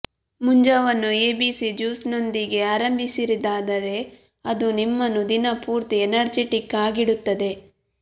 ಮುಂಜಾವನ್ನು A B C ಜ್ಯೂಸ್ನೊಂದಿಗೇ ಆರಂಭಿಸಿದಿರಾದರೆ ಅದು ನಿಮ್ಮನ್ನು ದಿನ ಪೂರ್ತಿ ಎನರ್ಜಿಟಿಕ್ ಆಗಿಡುತ್ತದೆ